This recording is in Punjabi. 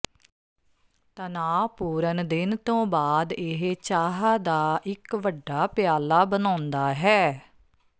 ਤਣਾਅਪੂਰਨ ਦਿਨ ਤੋਂ ਬਾਅਦ ਇਹ ਚਾਹ ਦਾ ਇੱਕ ਵੱਡਾ ਪਿਆਲਾ ਬਣਾਉਂਦਾ ਹੈ